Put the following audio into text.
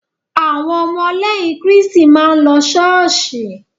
Áwon omo léyìn Kíriṣti máà ń lo Ṣọọsóì.